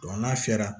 n'a sera